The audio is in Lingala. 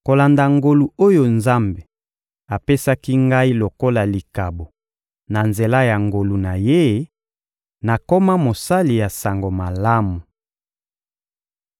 Kolanda ngolu oyo Nzambe apesaki ngai lokola likabo na nzela ya nguya na Ye, nakoma mosali ya Sango Malamu.